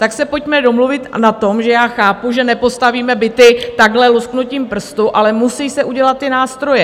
Tak se pojďme domluvit na tom, že já chápu, že nepostavíme byty takhle lusknutím prstu, ale musí se udělat ty nástroje.